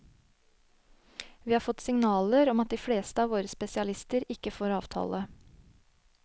Vi har fått signaler om at de fleste av våre spesialister ikke får avtale.